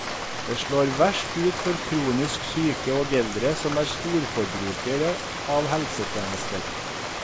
Det slår verst ut for kronisk syke og eldre som er storforbrukere av helsetjenester.